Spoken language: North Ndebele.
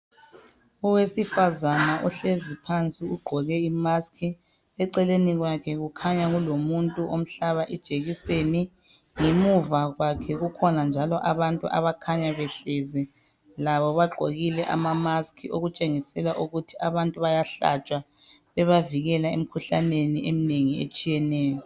owesifazana ohlezi phansi ugqoke i mask eceleni kwakhe kukhanya kulomuntu omhlaba ijekiseni ngemuva kwakhe kukhona njalo abantu abakhanya behlezi labo bagqokile ama mask okutshengisela ukuthi abantu bayahlatshwa bebavikela emkhuhlaneni eminengi etshiyeneyo